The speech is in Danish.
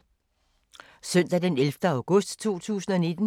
Søndag d. 11. august 2019